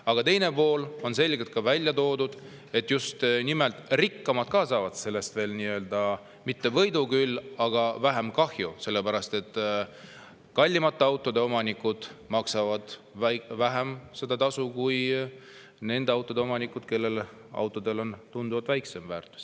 Aga teine pool on ka selgelt välja toodud: just nimelt rikkamad saavad sellest, no mitte võitu, küll aga vähem kahju, sellepärast et kallimate autode omanikud maksavad vähem kui need autoomanikud, kelle auto väärtus on tunduvalt väiksem.